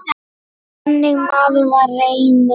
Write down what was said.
Þannig maður var Reynir.